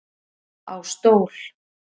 Á stól